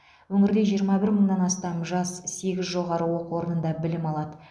өңірде жиырма бір мыңнан астам жас сегіз жоғары оқу орнында білім алады